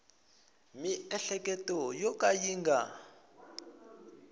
miehleketo yo ka yi nga